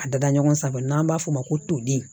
A dada ɲɔgɔn saba n'an b'a f'o ma ko toden